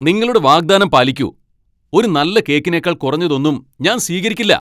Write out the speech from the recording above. നിങ്ങളുടെ വാഗ്ദാനം പാലിക്കൂ . ഒരു നല്ല കേക്കിനേക്കാൾ കുറഞ്ഞതൊന്നും ഞാൻ സ്വീകരിക്കില്ല.